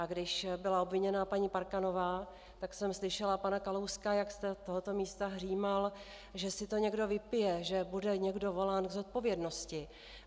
A když byla obviněna paní Parkanová, tak jsem slyšela pana Kalouska, jak z tohoto místa hřímal, že si to někde vypije, že bude někdo volán k zodpovědnosti.